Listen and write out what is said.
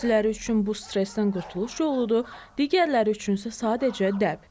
Bəziləri üçün bu stressdən qurtuluş yoludur, digərləri üçünsə sadəcə dəb.